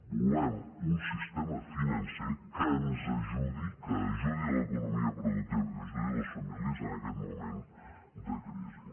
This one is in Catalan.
volem un sistema financer que ens ajudi que ajudi l’economia productiva que ajudi les famílies en aquest moment de crisi